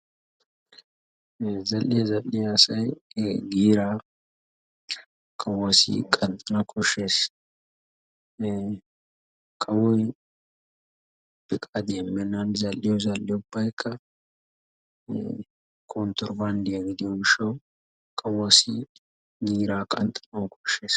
Zal'iyaa zal'iyaa asay e giiraa kawuwasi qanxxanawu koshshees. kawoy feqqadiya immenan zal'iyo zal'ee ubbaykka kontirobanddiya gidiyo gishshawu kawuwasi giira qanxxanawu koshshees.